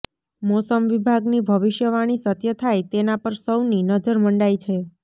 મોસમ વિભાગની ભવિષ્યવાણી સત્ય થાય તેના પર સૌની નજર મંડાઈ છે